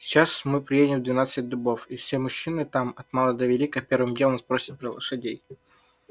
сейчас мы приедем в двенадцать дубов и все мужчины там от мала до велика первым делом спросят про лошадей